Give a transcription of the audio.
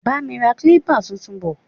Bá mi ra kilipa tuntun bò.